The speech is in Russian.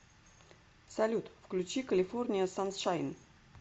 салют включи калифорния саншайн